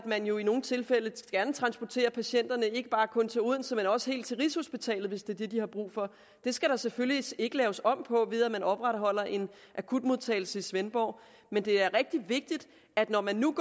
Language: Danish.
man jo i nogle tilfælde gerne transporterer patienterne ikke bare kun til odense man også helt til rigshospitalet hvis det er det de har brug for det skal der selvfølgelig ikke laves om på ved at man opretholder en akutmodtagelse i svendborg men det er rigtig vigtigt at når man nu